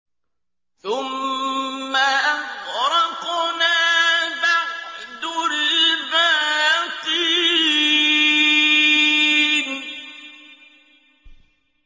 ثُمَّ أَغْرَقْنَا بَعْدُ الْبَاقِينَ